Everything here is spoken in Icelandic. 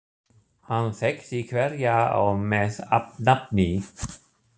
Hann þekkti hverja á með nafni.